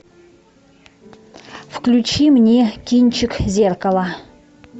включи мне кинчик зеркало